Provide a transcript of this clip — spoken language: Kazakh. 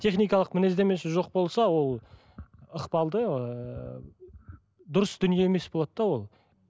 техникалық мінездемесі жоқ болса ол ықпалды ыыы дұрыс дүние емес болады да ол